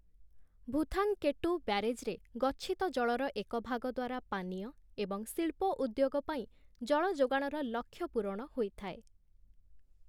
ଭୂଥାଙ୍କେଟ୍ଟୁ ବ୍ୟାରେଜ୍‌ରେ ଗଚ୍ଛିତ ଜଳର ଏକ ଭାଗ ଦ୍ୱାରା ପାନୀୟ ଏବଂ ଶିଳ୍ପ ଉଦ୍ୟୋଗ ପାଇଁ ଜଳ ଯୋଗାଣର ଲକ୍ଷ୍ୟ ପୂରଣ ହୋଇଥାଏ ।